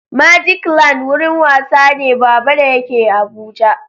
Magicland gurin wasa ne Baba da yake Abuja